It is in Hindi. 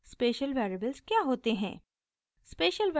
special variables क्या होते हैं